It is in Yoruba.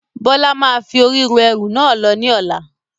Bọlá máa fi ori ru ẹrú náà lọ ní ọ̀la.